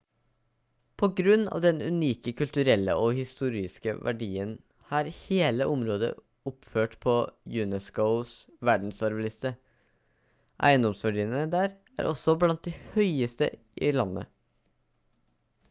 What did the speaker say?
på grunn av den unike kulturelle og historiske verdien er hele området oppført på unescos verdensarvliste eiendomsverdiene der er også blant de høyeste i landet